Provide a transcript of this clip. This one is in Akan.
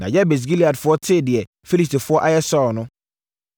Na Yabes Gileadfoɔ tee deɛ Filistifoɔ ayɛ Saulo no,